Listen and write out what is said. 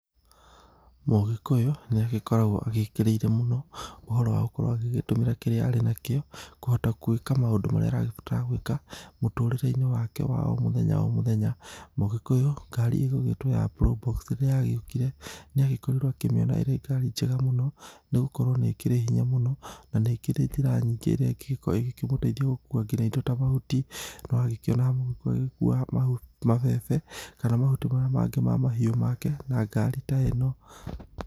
Mũgĩkũyũ nĩ agĩkoragwo agĩkĩrĩire mũno, ũhoro wa gũkorwo agĩgĩtũmĩra kĩrĩa arĩ na kĩo, kũhota gwĩka maũndũ marĩa aragĩbatara gwĩka, mũtũrĩre-inĩ wake wa o mũthenya o mũthenya. Mũgĩkũyũ ngari ĩgũgĩtwo ya probox rĩrĩa yagĩũkire, nĩ agĩkorirwo akĩmĩona ĩrĩ ngari njega mũno, nĩ gũkorwo nĩ ĩkĩrĩ hinya mũno, na nĩ ĩkĩrĩ njĩra nyingĩ ĩrĩa ĩngĩgĩkorwo ĩgĩkĩmũteithia gũkua nginya indo ta mahuti. Nĩ wakĩonaga mũgĩkũyũ agĩkua mabebe, kana mahuti marĩa mangĩ ma mahiũ make na ngari ta ĩno.